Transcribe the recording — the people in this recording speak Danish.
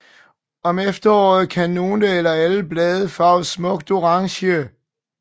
Om efteråret kan nogle eller alle blade farves smukt orange